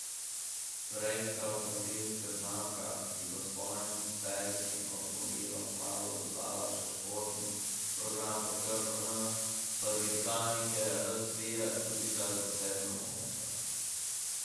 Korejska avtomobilska znamka, ki bo svojim serijskim avtomobilom kmalu dodala še športni program pod črko N, pa dirkalnike razvija tudi za zasebna moštva.